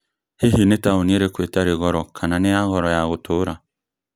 hihi nĩ taũni ĩtarĩ goro kana nĩ ya goro ya gũtũũra?